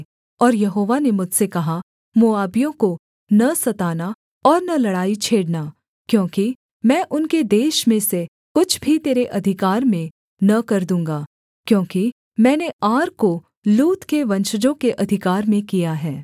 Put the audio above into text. और यहोवा ने मुझसे कहा मोआबियों को न सताना और न लड़ाई छेड़ना क्योंकि मैं उनके देश में से कुछ भी तेरे अधिकार में न कर दूँगा क्योंकि मैंने आर को लूत के वंशजों के अधिकार में किया है